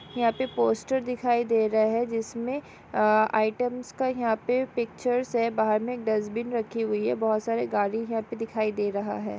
यहापे post दिखाई दे रहा है जिसमें आइटम्स का यहां पर पिक्चर्स है बाहर में डस्टबिन रखी हुई है बहुत सारे गाड़ी है पर दिखाई दे रहा है|